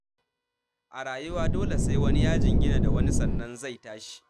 A rayuwa dole sai wani ya jingina da wani sannan zai tashi.